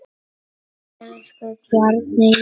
Elsku Bjarni Jón.